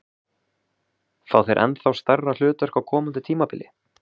Fá þeir ennþá stærra hlutverk á komandi tímabili?